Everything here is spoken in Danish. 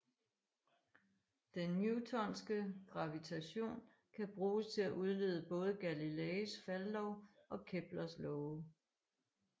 Den newtonske gravitation kan bruges til at udlede både Galileis faldlov og Keplers love